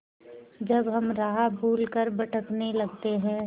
जब हम राह भूल कर भटकने लगते हैं